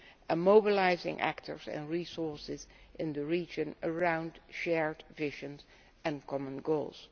and mobilising actors and resources in the region around shared visions and common goals.